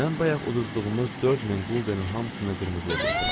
Mən bayaq uduzduğumuz 4000 quldenin hamısını qırmızıya qoydum.